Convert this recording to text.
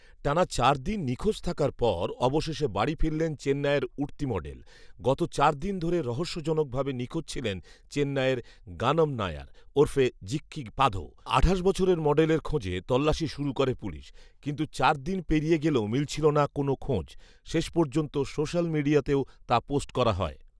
টানা চারদিন নিখোঁজ থাকার পর অবশেষে বাড়ি ফিরলেন চেন্নাইয়ের উঠতি মডেল৷ গত চার দিন ধরে রহস্যজনকভাবে নিখোঁজ ছিলেন চেন্নাইয়ের গানম নায়ার ওরফে জিক্কি পাধো৷ আঠাশ বছরের মডেলের খোঁজে তল্লাশি শুরু করে পুলিশ৷ কিন্তু চার দিন পেরিয়ে গেলেও মিলছিল না কোনও খোঁজ৷শেষপর্যন্ত সোশ্যাল মিডিয়াতেও তা পোস্ট করা হয়